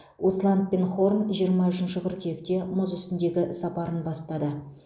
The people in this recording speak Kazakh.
усланд пен хорн жиырма үшінші қыркүйекте мұз үстіндегі сапарын бастады